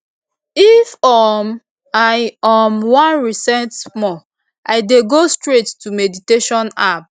if um i um wan reset small i dey go straight to meditation app